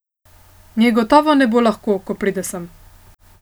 Njej gotovo ne bo lahko, ko pride sem.